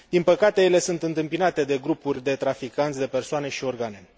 Din păcate, ele sunt întâmpinate de grupuri de traficanți de persoane și organe.